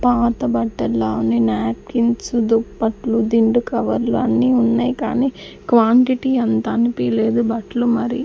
పాత బట్టల్లా అన్ని న్యాప్కిన్స్ దుప్పట్లు దిండు కవర్లు అన్నీ ఉన్నాయ్ కానీ క్వాంటిటీ అంత అనిపియలేదు బట్లు మరి--